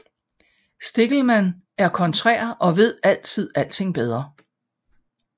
Stickelmann er kontrær og ved altid alting bedre